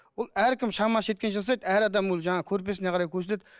ол әркім шамасы жеткенше жасайды әр адам ол жаңағы көрпесіне қарай көсіледі